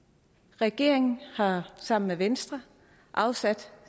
regeringen har sammen med venstre afsat